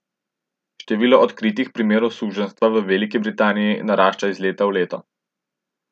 Število odkritih primerov suženjstva v Veliki Britaniji narašča iz leta v leto.